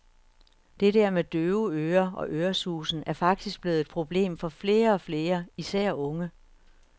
Det der med døve ører og øresusen er faktisk blevet et problem for flere og flere, især unge.